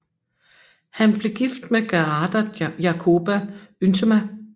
Han blev gift med Gerarda Jacoba Yntema